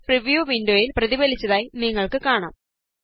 അത് പ്രിവ്യൂ വിന്ഡോയില് പ്രതിഫലിച്ചതായി നിങ്ങള്ക്ക് കാണാം